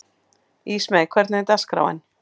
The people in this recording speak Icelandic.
Ísmey, hvernig er dagskráin?